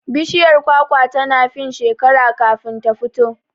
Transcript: Bishiyar kwakwa tana fin shekera kafin ta fito